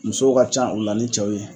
Musow ka ca u la ni cɛw ye